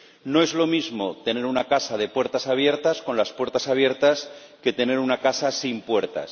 No es lo mismo tener una casa de puertas abiertas con las puertas abiertas que tener una casa sin puertas.